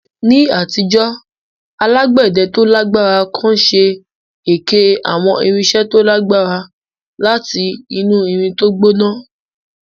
Ní àtijọ́, alágbẹ̀dẹ tó lágbára kan ṣe èké àwọn irinṣẹ́ tó lágbára láti inú irin tó gbóná